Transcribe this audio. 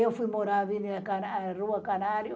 Eu fui morar na Avenida Rua Canário.